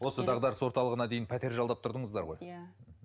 осы дағдарыс орталығына дейін пәтер жалдап тұрдыңыздар ғой иә